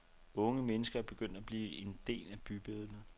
Unge mennesker er begyndt at blive en del af bybilledet.